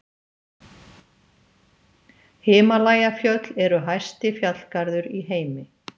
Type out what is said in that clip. himalajafjöll eru hæsti fjallgarður í heimi